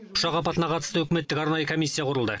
ұшақ апатына қатысты үкіметтік арнайы комиссия құрылды